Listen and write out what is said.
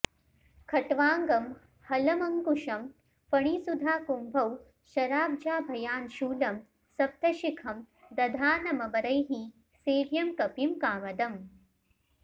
खट्वांगं हलमंकुशं फणिसुधाकुम्भौ शराब्जाभयान् शूलं सप्तशिखं दधानममरैः सेव्यं कपिं कामदम्